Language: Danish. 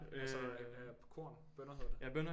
Ja så på korn bønner hedder det